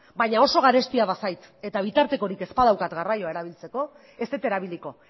baina oso garestia bazait eta bitartekorik ez badaukat garraioa erabiltzeko ez dut erabiliko